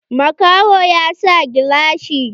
Makahon ya sa gilashi.